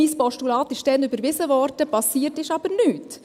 Mein Postulat wurde damals überwiesen, geschehen ist aber nichts.